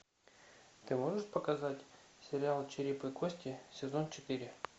ты можешь показать сериал череп и кости сезон четыре